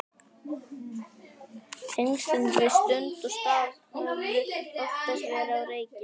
Tengslin við stund og stað höfðu oftast verið á reiki.